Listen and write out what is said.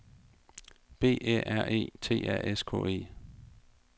B Æ R E T A S K E